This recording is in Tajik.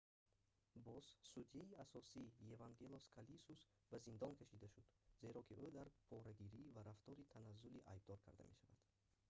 боз судяи асосӣ евангелос калусис ба зиндон кашида шуд зеро ки ӯ дар порагирӣ ва рафтори таназзулӣ айбдор карда мешавад